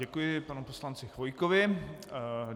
Děkuji panu poslanci Chvojkovi.